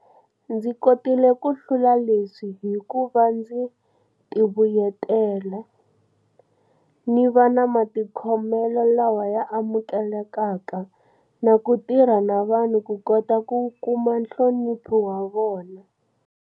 Ndzi kotile ku hlula leswi hi kuva ndzi tivuyetela, ni va na matikhomelo lawa ya amukelekaka na ku tirha na vanhu ku kota ku kuma nhlonipho wa vona.